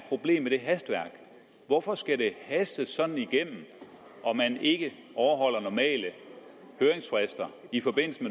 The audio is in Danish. problem med det hastværk hvorfor skal det hastes sådan igennem at man ikke overholder normale høringsfrister i forbindelse